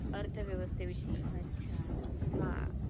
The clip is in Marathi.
अर्थव्यवस्थे विषयीशी अच्छा हां